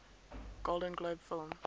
golden globe film